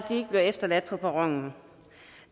ikke bliver efterladt på perronen